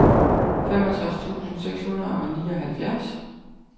femogtres tusind seks hundrede og nioghalvfjerds